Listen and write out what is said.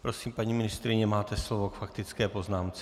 Prosím, paní ministryně, máte slovo k faktické poznámce.